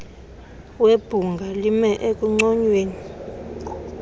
webhunga lime ekunconyweni